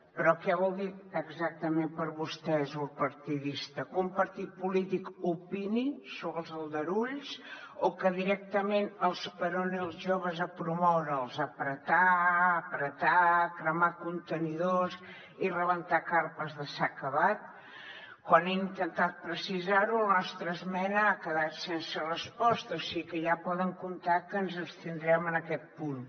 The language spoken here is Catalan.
però què vol dir exactament per a vostès l’ús partidista que un partit polític opini sobre els aldarulls o que directament esperoni els joves a promoure apretar apretar cremar contenidors i rebentar carpes de s’ha acabat quan he intentat precisar ho la nostra esmena ha quedat sense resposta o sigui que ja poden comptar que ens abstindrem en aquest punt